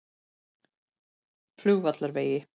Flugvallarvegi